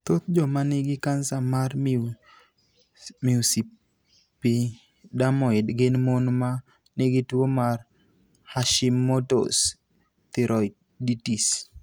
Thoth joma nigi kansa mar mucoepidermoid gin mon ma nigi tuo mar Hashimoto's thyroiditis.